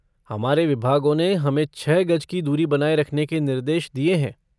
हमारे विभागों ने हमें छह गज की दूरी बनाये रखने के निर्देश दिये हैं।